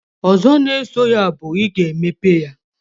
Ozo na eso ya bu, iga emepe ya